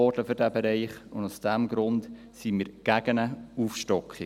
Aus diesem Grund sind wir gegen eine Aufstockung.